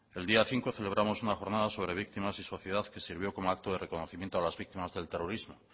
el día cinco celebramos una jornada sobre víctimas y sociedad que sirvió como acto de reconocimiento a las víctimas del terrorismo